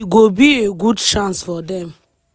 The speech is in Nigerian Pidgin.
e go be a good chance for dem.